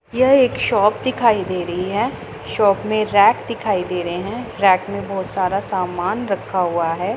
यह एक शॉप दिखाई दे रही है शॉप में रैक दिखाई दे रहे हैं रैक में बहोत सारा सामान रखा हुआ है।